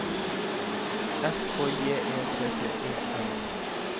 S K J E T T E N